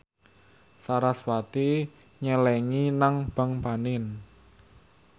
sarasvati nyelengi nang bank panin